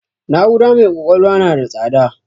Na'ura mai ƙwaƙwalwa n da tsada